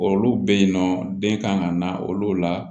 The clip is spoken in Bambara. Olu bɛ yen nɔ den kan ka na olu la